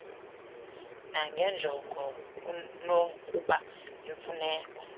nanjengoko kunokuba yimfuneko